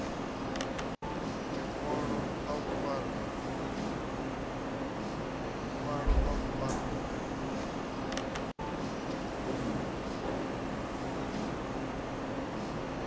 ḽiṅwalo ḽa u fara ḓi